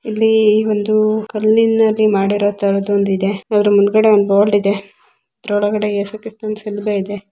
ಇಲ್ಲಿ ಒಂದು ಕಲ್ಲಿನಲ್ಲಿ ಮಾಡಿರೊತರದು ಒಂದು ಇದೆ ಅದ್ರ ಮುಂದಗಡೆ ಒಂದು ಬೊರ್ಡ ಇದೆ ಅದರ ಒಲ್ಗಡೆ ಎಸುಕ್ರಿಸ್ತನ್‌ ಶಲುಬೆ ಇದೆ.